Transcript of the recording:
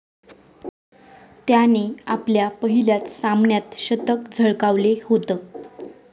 त्याने आपल्या पहिल्याच सामन्यात शतक झळकावले होतं.